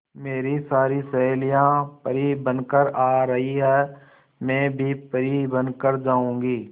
मेरी सारी सहेलियां परी बनकर आ रही है मैं भी परी बन कर जाऊंगी